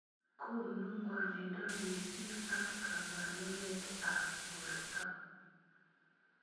Konu ng'wonindo missing ak kabwanunet ab borto.